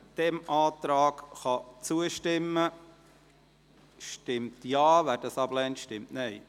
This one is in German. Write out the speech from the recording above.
Wer diesem Antrag zustimmen will, stimmt Ja, wer diesen ablehnt, stimmt Nein.